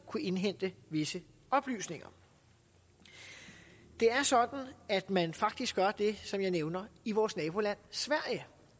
kunne indhente visse oplysninger det er sådan at man faktisk gør det som jeg nævner i vores naboland sverige